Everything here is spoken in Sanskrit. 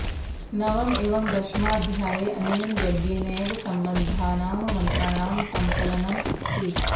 नवम एवं दशमाध्याये अनेन यज्ञेनैव सम्बद्धानां मन्त्राणां सङ्कलनमस्ति